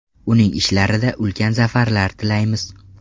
Uning ishlarida ulkan zafarlar tilaymiz.